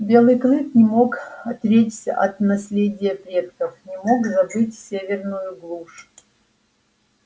белый клык не мог отречься от наследия предков не мог забыть северную глушь